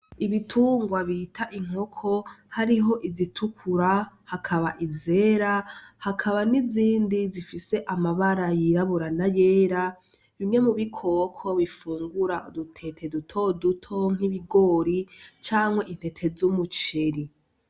ibitungwa bita inkoko hariho izitukura hakaba izera hakaba n'izindi zifise amabara y'irabura n'ayera bimwe mu bikoko bifungura udutete dutoto nk'ibigori canke intete z'umuceri.